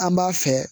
An b'a fɛ